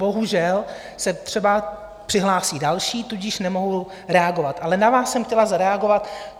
Bohužel se třeba přihlásí další, tudíž nemohu reagovat, ale na vás jsem chtěla zareagovat.